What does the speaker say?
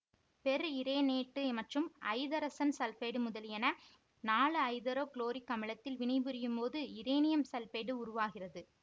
per இரேனேட்டு மற்றும் ஐதரசன் சல்பைடு முதலியன நான்கு ஐதரோ குளோரிக் அமிலத்தில் வினைபுரியும் போது இரேனியம் சல்பைடு உருவாகிறது